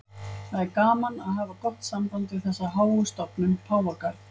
Það er gaman að hafa gott samband við þessa háu stofnun, Páfagarð.